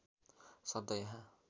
शब्द यहाँ